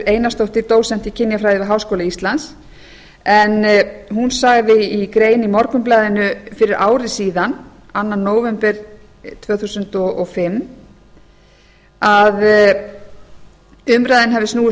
einarsdóttir dósent í kynjafræði við háskóla íslands en hún sagði í grein í morgunblaðinu fyrir ári síðan annan nóvember tvö þúsund og fimm að umræðan hafi snúist